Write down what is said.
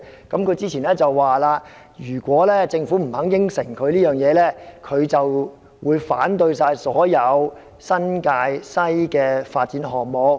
他之前說，如果政府不肯答應這一點，他會反對所有新界西的發展項目。